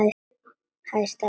Hæ, Stella mín.